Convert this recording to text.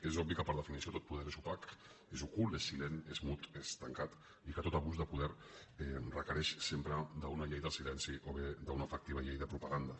és obvi que per definició tot poder és opac és ocult és silent és mut és tancat i que tot abús de poder requereix sempre una llei del silenci o bé una efectiva llei de propaganda